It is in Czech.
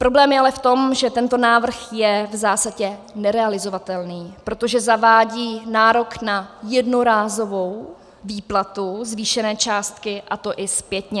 Problém je ale v tom, že tento návrh je v zásadě nerealizovatelný, protože zavádí nárok na jednorázovou výplatu zvýšené částky, a to i zpětně.